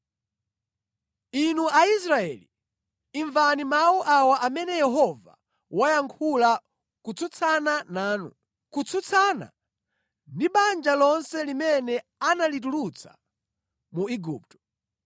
Inu Aisraeli, imvani mawu awa amene Yehova wayankhula kutsutsana nanu, kutsutsana ndi banja lonse limene analitulutsa mu Igupto: